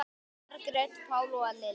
Margrét Pála og Lilja.